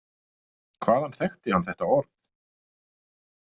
Hvaðan þekkti hann þetta orð?